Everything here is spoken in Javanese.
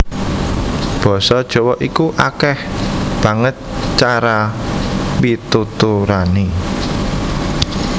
Basa Jawa iku akèh banget cara pituturané